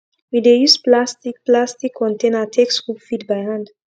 we dey use plastic plastic container take scoop feed by hand